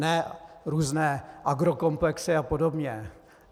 Ne různé agrokomplexy a podobně.